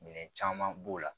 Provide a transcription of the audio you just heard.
Minɛn caman b'o la